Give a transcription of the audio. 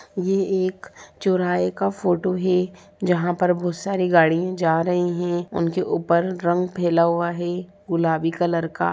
ये एक चौराहे का फोटो है जहा पर बहुत सारी गाड़ियां जा रही हैं | उनके ऊपर रंग फैला हुआ है गुलाबी कलर का।